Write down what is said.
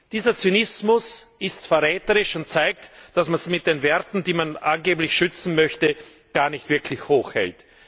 Dieser Zynismus ist verräterisch und zeigt, dass man die Werte, die man angeblich schützen möchte, gar nicht wirklich hochhält.